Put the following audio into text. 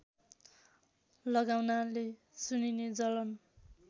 लगाउनाले सुनिने जलन